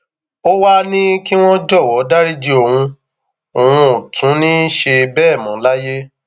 ó wàá ní kí wọn jọwọ dariji òun òun ò tún ní í ṣe bẹẹ mọ láyé